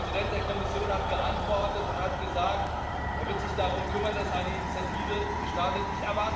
Der Präsident der Kommission hat geantwortet und hat gesagt, er werde sich darum kümmern, dass eine Initiative gestartet wird.